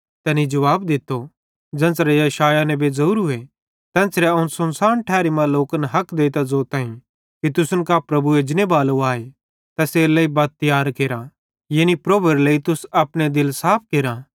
तैनी जुवाब दित्तो ज़ेन्च़रे यशायाह नेबे मेरे बारे मां ज़ोरूए तेन्च़रे अवं सुनसान ठैरी मां लोकन हक देइतां ज़ोताईं कि तुसन कां प्रभु एजनेबालो आए तैसेरेलेइ बत तियार केरा यानी प्रभुएरे लेइ तुस अपने दिल साफ केरा